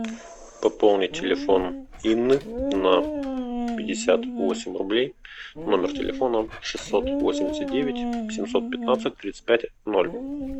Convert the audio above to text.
пополни телефон инны на пятьдесят восемь рублей номер телефона шестьсот восемьдесят девять семьсот пятнадцать тридцать пять ноль